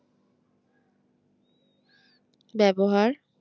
ব্যবহার